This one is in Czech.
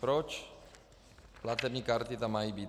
Proč platební karty tam mají být?